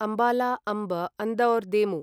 अम्बला अम्ब् अन्दौर देमु